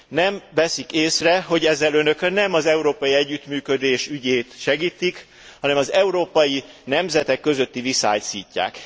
Nem veszik észre, hogy ezzel Önök nem az európai együttműködés ügyét segítik, hanem az európai nemzetek közötti viszályt szítják.